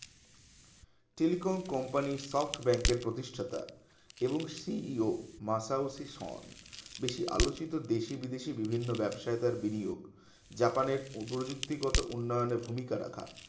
telecom company সব ব্যাংকের প্রতিষ্ঠাতা এবং CEO মাসাওসি সন বেশি আলোচিত দেশি বিদেশি ভিবিন্ন ব্যাবসায়ী কার বিনিয়োগ জাপানের প্রযুক্তিগত উন্নয়নের ভূমিকা রাখা